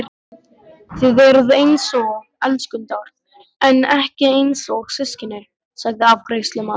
Þið eruð einsog elskendur en ekki einsog systkini, sagði afgreiðslumaðurinn.